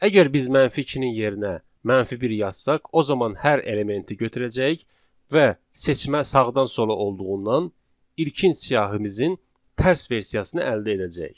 Əgər biz mənfi 2-nin yerinə mənfi 1 yazsaq, o zaman hər elementi götürəcəyik və seçmə sağdan sola olduğundan ilkin siyahımızın tərs versiyasını əldə edəcəyik.